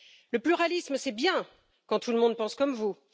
Le pluralisme, c'est bien quand tout le monde pense comme vous.